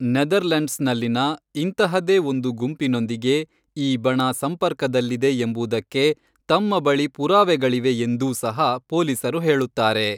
ನೆದರ್ಲೆಂಡ್ಸ್ನಲ್ಲಿನ ಇಂತಹದೇ ಒಂದು ಗುಂಪಿನೊಂದಿಗೆ ಈ ಬಣ ಸಂಪರ್ಕದಲ್ಲಿದೆ ಎಂಬುದಕ್ಕೆ ತಮ್ಮ ಬಳಿ ಪುರಾವೆಗಳಿವೆ ಎಂದೂ ಸಹ ಪೊಲೀಸರು ಹೇಳುತ್ತಾರೆ.